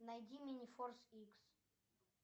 найди минифорс икс